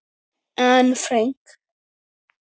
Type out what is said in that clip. Anne Frank.